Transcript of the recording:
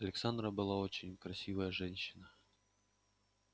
александра была очень красивая женщина